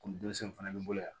Ko ni denmisɛnw fana bɛ bolo yan